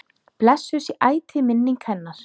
Blessuð sé ætíð minning hennar.